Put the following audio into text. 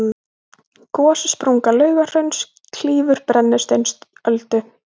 gossprunga laugahrauns klýfur brennisteinsöldu